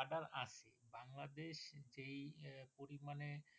order আছে বাংলাদেশ যেই পরিমানে।